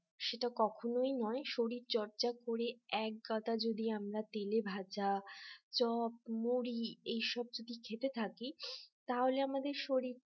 সেটা কখনোই নয় শরীরচর্চা করে একগাদা যদি আমরা তেলে ভাজা চপ মুড়ি এইসব যদি খেতে থাকি তাহলে আমাদের শরীর